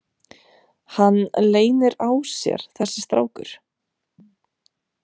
Hann leynir á sér þessi strákur.